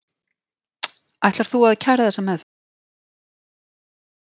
Ætlar þú að kæra þessa meðferð?